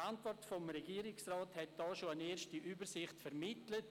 Die Antwort des Regierungsrats hat bereits eine erste Übersicht vermittelt.